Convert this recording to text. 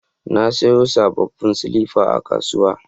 Na sayo sabon silifa a kasuwa.